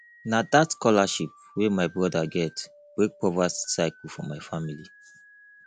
na dat scholarship wey my broda get break poverty cycle for my family